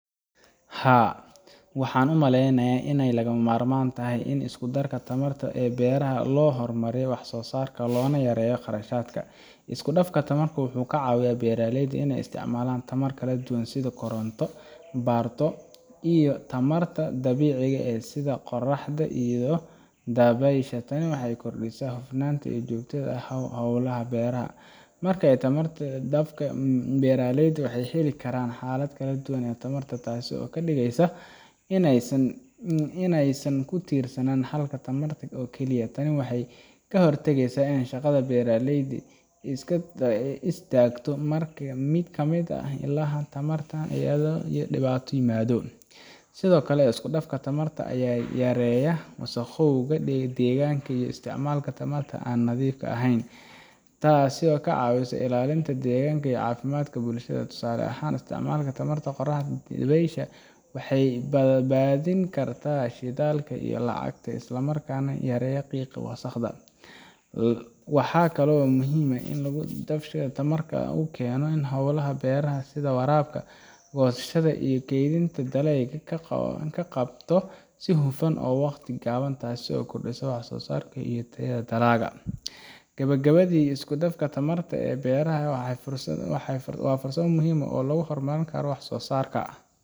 Haa, waxaan u maleynayaa inay lagama maarmaan tahay in la isku daro tamarta ee beeraha si loo horumariyo wax soo saarka loona yareeyo kharashaadka. Isku dhafka tamarta wuxuu ka caawiyaa beeraleyda inay isticmaalaan ilo tamar oo kala duwan sida koronto batrool, iyo tamarta dabiiciga ah sida qorraxda iyo dabaysha. Tani waxay kordhisaa hufnaanta iyo joogtaynta hawlaha beeraha. Marka tamarta la isku dhafka, beeraleydu waxay heli karaan xalal kala duwan oo tamar ah, taas oo ka dhigaysa in aysan ku tiirsanaan hal ilo tamar oo kaliya. Tani waxay ka hortagtaa in shaqada beeraha ay istaagto marka mid ka mid ah ilaha tamarta uu yaraado ama dhibaato yimaado. Sidoo kale, isku dhafka tamarta ayaa yareeya wasakhowga deegaanka iyo isticmaalka tamarta aan nadiifka ahayn, taas oo ka caawisa ilaalinta deegaanka iyo caafimaadka bulshada. Tusaale ahaan, isticmaalka tamarta qorraxda iyo dabaysha waxay badbaadin kartaa shidaalka iyo lacagta, isla markaana yareysa qiiqa wasakhda. Waxaa kaloo muhiim ah in isku dhafka tamarta uu keeno in hawlaha beeraha sida waraabka, goosashada iyo kaydinta dalagyada loo qabto si hufan oo waqti gaaban, taasoo kordhisa wax soo saarka iyo tayada dalagga. Gabagabadii, isku dhafka tamarta ee beeraha waa farsamo muhiim ah oo lagu horumarin karo wax soo saarka,